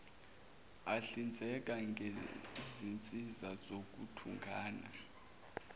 ahlinzeka ngezinsiza zokuthungatha